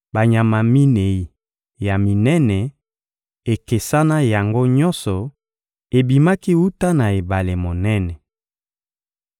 Banyama minei ya minene, ekesana yango nyonso, ebimaki wuta na ebale monene.